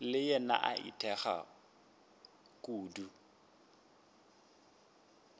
le yena a itekago kudu